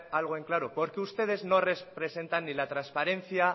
algo en claro porque ustedes no representan ni la trasparencia